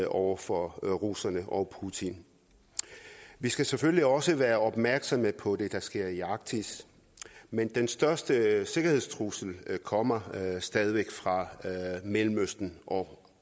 over for russerne og putin vi skal selvfølgelig også være opmærksomme på det der sker i arktis men den største sikkerhedstrussel kommer stadig væk fra mellemøsten og